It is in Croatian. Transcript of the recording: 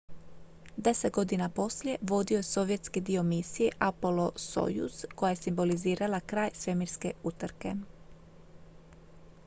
deset godina poslije vodio je sovjetski dio misije apollo-soyuz koja je simbolizirala kraj svemirske utrke